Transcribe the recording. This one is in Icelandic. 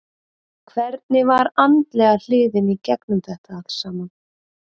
Hvernig var andlega hliðin í gegnum þetta allt saman?